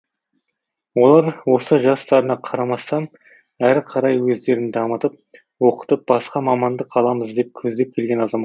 олар осы жастарына қарамастан әрі қарай өздерін дамытып оқытып басқа мамандық аламыз деп көздеп келген азаматтар